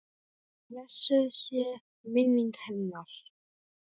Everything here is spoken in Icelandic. Blessuð sé minning hennar.